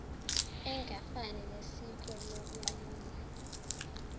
engafani nesiko lokwelula